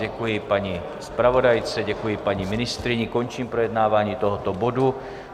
Děkuji paní zpravodajce, děkuji paní ministryni, končím projednávání tohoto bodu.